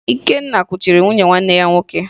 Ikenna kuchiri nwunye nwanne ya nwoke